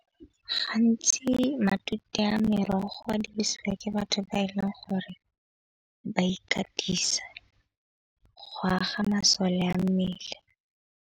Gantsi matute a merogo a dirisiwa ke batho ba e leng gore ba ikatisa go aga masole a mmele.